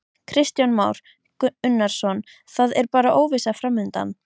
Kristján Már Unnarsson: Það er bara óvissa framundan?